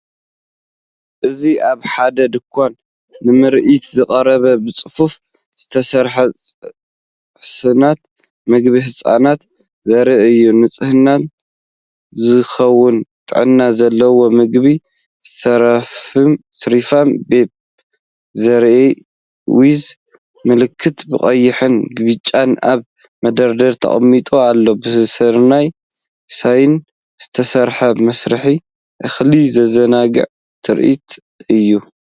እዚ ኣብ ሓደ ድኳን ንምርኢት ዝቐረቡ ብጽፉፍ ዝተሰርዑ ሳጹናት ምግቢ ህጻናት ዘርኢ እዩ። ንህጻናት ዝኸውን ጥዕና ዘለዎ ምግቢ “ሰሪፋም ቤቢ ሲርያል ዊዝ ሚልክ”ብቐይሕን ብጫን ኣብ መደርደሪ ተቐሚጡ ኣሎ። ብስርናይን ሶያን ዝተሰርሐ መስርዕ እኽሊ ዘዘናግዕ ትርኢት እዩ።